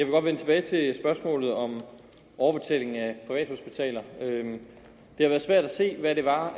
godt vende tilbage til spørgsmålet om overbetaling af privathospitaler det har været svært at se hvad liberal